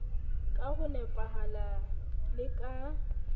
ka ho nepahala le ka